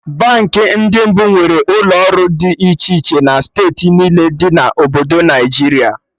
Baankị ndị mbụ nwere ụlọ ọrụ dị iche iche na steeti niile dị na Obodo Naịjiria